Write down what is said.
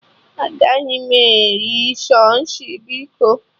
Agaghị m eri sushi biko